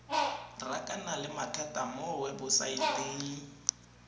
rakana le mathata mo webosaeteng